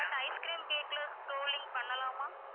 but ice cream cake ல scrolling பண்ணலாமா